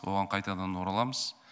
оған қайтадан ораламыз